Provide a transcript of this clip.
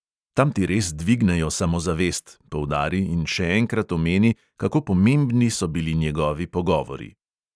Tam ti res dvignejo samozavest, poudari in še enkrat omeni, kako pomembni so bili njihovi pogovori.